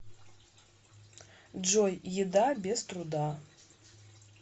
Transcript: джой еда без труда